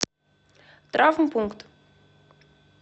травмпункт